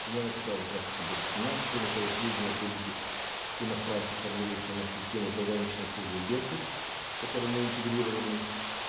примерно такая же практика будет у нас кроме того сведения о прибытии иностранцев формируются у нас в системе порганичной службы беркут с которой мы интегрированы